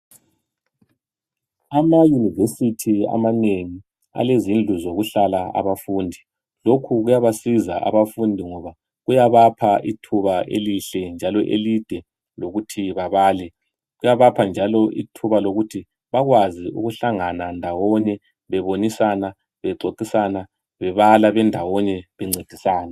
Ama University amanengi alezindlu ezokuhlala abafundi. Lokhu kuyabasiza abafundi ngoba kuyabapha ithuba elihle njalo elide lokuthi babale. Kuyabapha njalo ithuba lokuthi bakwazi ukuhlangana ndawonye bebonisana bexoxisana bebala bendawonye bencedisana .